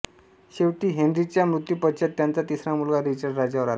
शेवटी हेन्रीच्या मृत्यूपश्चात त्याचा तिसरा मुलगा रिचर्ड राज्यावर आला